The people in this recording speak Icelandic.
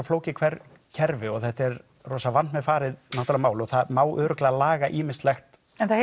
flókið kerfi og rosa vandmeðfarið mál og það má örugglega laga ýmislegt en það